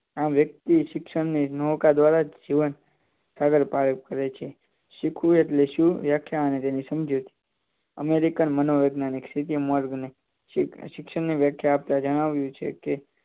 આમ વ્યક્તિ શિક્ષણનોકા દ્વારા જીવન સાદર પાડે છે શીખવું એટલે શું વ્યાખ્યા અને તેની સમજૂતી અમેરિકા મનોવિજ્ઞાન સ્થિતિ મોર્ગ ની શિક્ષણની વ્યાખ્યા આપતા જણાવ્યું છે કે